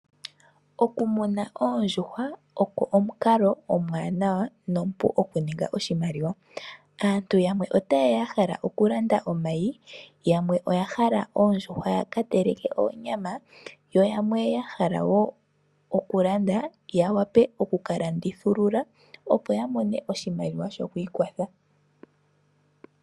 Okumuna oondjuhwa oko omukalo omuwanawa nomupu okuninga oshimaliwa. Aantu yamwe ota yeya ya hala okulanda omayi. Yamwe oya hala oondjuhwa ya kateleke oonyama yo yamwe ya hala wo okulanda ya vule okukalandithulula opo ya mone oshimaliwa shokwiikwatha.